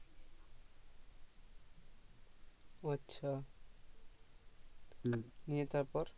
ও আচ্ছা নিয়ে তারপর